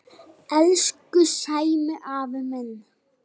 Elsku Sæmi afi minn.